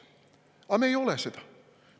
Aga me ei ole seda.